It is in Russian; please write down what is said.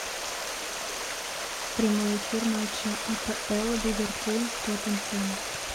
прямой эфир матча апл ливерпуль тоттенхэм